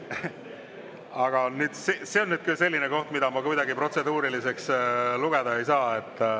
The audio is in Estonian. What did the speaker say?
Aga see on nüüd küll selline, mida ma kuidagi protseduuriliseks lugeda ei saa.